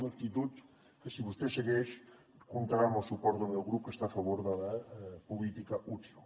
una actitud que si vostè segueix comptarà amb el suport del meu grup que està a favor de la política útil